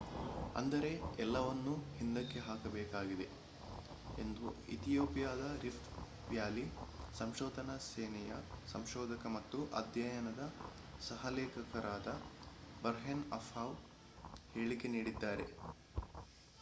ಅಂದರೆ ಎಲ್ಲವನ್ನೂ ಹಿಂದಕ್ಕೆ ಹಾಕಬೇಕಾಗಿದೆ ಎಂದು ಇಥಿಯೋಪಿಯಾದ ರಿಫ್ಟ್ ವ್ಯಾಲಿ ಸಂಶೋಧನಾ ಸೇವೆಯ ಸಂಶೋಧಕ ಮತ್ತು ಅಧ್ಯಯನದ ಸಹ ಲೇಖಕರಾದ ಬರ್ಹೇನ್ ಅಸ್ಫಾವ್ ಹೇಳಿಕೆ ನೀಡಿದ್ದಾರೆ